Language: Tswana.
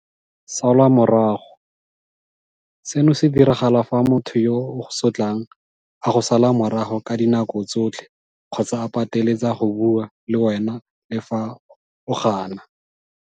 Salwa morago, seno se diragala fa motho yo a go sotlang a go sala morago ka dinako tsotlhe kgotsa a pateletsa go bua le wena le fa o gana.